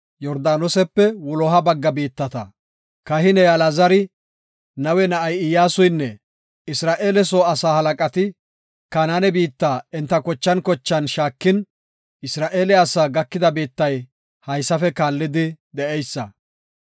Kahiney Alaazari, Nawe na7ay Iyyasuynne Isra7eele soo asaa halaqati, Kanaane biitta enta kochan kochan shaakin, Isra7eele asaa gakida biittay haysafe kaallidi de7eysa.